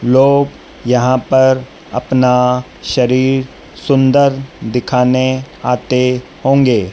लोग यहां पर अपना शरीर सुंदर दिखाने आते होंगे।